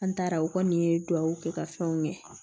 An taara o kɔni ye duwawu kɛ ka fɛnw kɛ